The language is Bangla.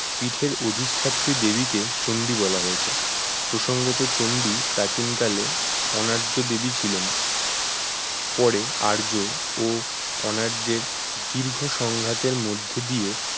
পিঠের অধিষ্ঠাত্রী দেবী কে চন্ডী বলা হয়েছে, প্রসঙ্গত চন্ডী প্রাচীনকালে অনার্য দেবী ছিলেন পরে আর্য ও অনার্য এর দীর্ঘ সংঘাতের মধ্যদিয়ে